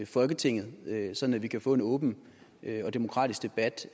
folketinget sådan at vi kan få en åben og demokratisk debat